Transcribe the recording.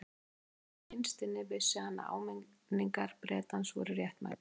Kannski vegna þess að innst inni vissi hann að áminningar Bretans voru réttmætar.